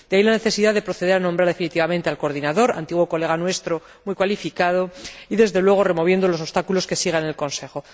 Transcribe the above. De ahí la necesidad de proceder a nombrar definitivamente al coordinador —antiguo colega nuestro, muy cualificado— y, desde luego, de remover los obstáculos que subsistan en el Consejo.